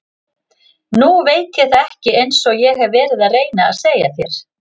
Nei ég veit það ekki einsog ég hef verið að reyna að segja þér.